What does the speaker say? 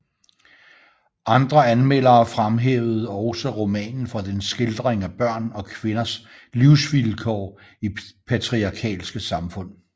Andre anmeldere fremhævede også romanen for dens skildring af børn og kvinders livsvilkår i patriarkalske samfund